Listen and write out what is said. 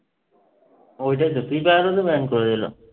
ওইটাই তো। ফ্রি ফায়ারও তো ban করে দিল।